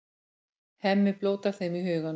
Hemmi blótar þeim í huganum.